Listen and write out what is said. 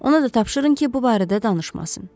Ona da tapşırın ki, bu barədə danışmasın.